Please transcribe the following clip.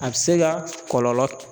A bɛ se ka kɔlɔlɔ